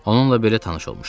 Onunla belə tanış olmuşdum.